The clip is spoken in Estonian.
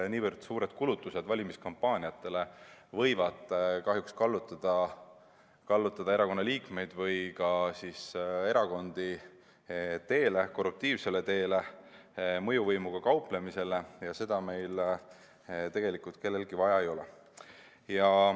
Niivõrd suured kulutused valimiskampaaniatele võivad kahjuks kallutada erakonnaliikmeid või ka siis erakondi korruptiivsele teele ja mõjuvõimuga kauplemisele, aga seda meil tegelikult kellelegi vaja ei ole.